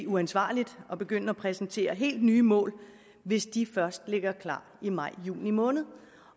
uansvarligt at begynde at præsentere hele nye mål hvis de først ligger klar i maj juni måned